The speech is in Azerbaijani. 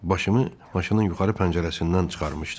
Başımı maşının yuxarı pəncərəsindən çıxarmışdım.